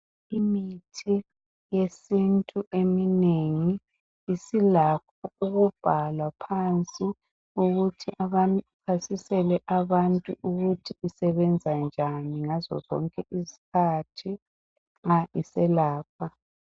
Imithi yesintu eminengi isilakho ukubhalwa phansi ukuthi ichasisele abantu ukuthi isebenza njani ngazo zonke izikhathi ma iselapha